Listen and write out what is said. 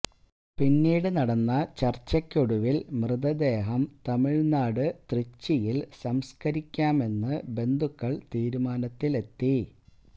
പിന്നീട് നടന്ന ചർച്ചക്കൊടുവിൽ മൃതദേഹം തമിഴ്നാട് തൃച്ചിയിൽ സംസ്കരിക്കാമെന്ന് ബന്ധുക്കൾ തീരുമാനത്തിലെത്തി